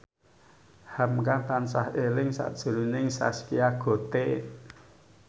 hamka tansah eling sakjroning Zaskia Gotik